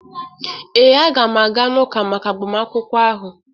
ee, aga m aga n'ụka maka agbamakwụkwọ ahụ.